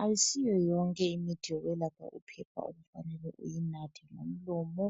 Ayisiyo yonke imithi yokwelapha uphepha okufanele uyinathe ngomlomo.